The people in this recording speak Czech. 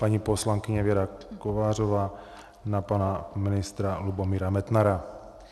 Paní poslankyně Věra Kovářová na pana ministra Lubomíra Metnara.